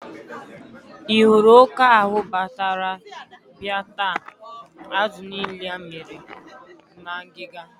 Ị hụrụ oke ahụ batara bia taa azụ niile amịrị na ngịga?